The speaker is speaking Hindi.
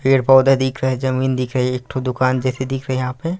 पेड़-पौधे दिख रहे है जमीन दिख रहे है एक ठो दुकान जैसे दिख रहे है यहाँ पे--